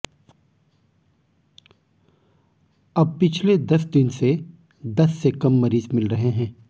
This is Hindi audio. अब पिछले दस दिन से दस से कम मरीज मिल रहे हैं